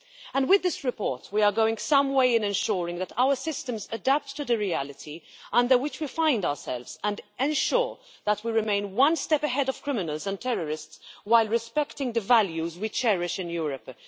And with this report we are going some way in ensuring that our systems adapt to the reality under which we find ourselves and ensure that we remain one step ahead of criminals and terrorists while respecting the values we cherish in Europe.